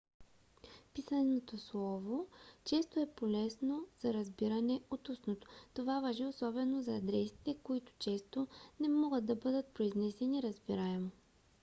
писаното слово често е по-лесно за разбиране от устното. това важи особено за адресите които често не могат да бъдат произнесени разбираемо